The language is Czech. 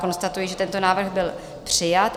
Konstatuji, že tento návrh byl přijat.